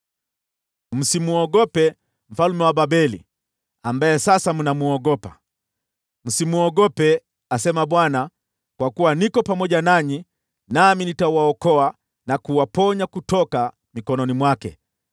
Msimwogope mfalme wa Babeli, ambaye sasa mnamwogopa. Msimwogope, asema Bwana , kwa kuwa niko pamoja nanyi, nami nitawaokoa na kuwaponya kutoka mikononi mwake.